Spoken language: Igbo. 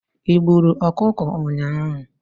Ị gburu ọkụkọ ụnyaahụ?